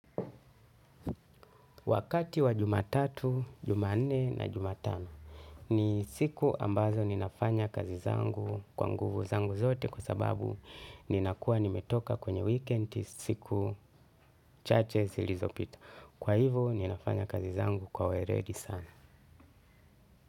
Wakati wa jumatatu, jumanne na jumatano ni siku ambazo ninafanya kazi zangu kwa nguvu zangu zote kwa sababu ninakuwa nimetoka kwenye wikendi siku chache zilizopita. Kwa hivo ninafanya kazi zangu kwa weledi sana.